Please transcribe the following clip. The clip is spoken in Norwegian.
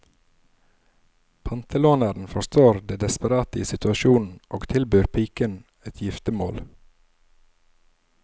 Pantelåneren forstår det desperate i situasjonen og tilbyr piken et giftemål.